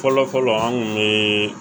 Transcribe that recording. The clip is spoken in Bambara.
Fɔlɔfɔlɔ an kun be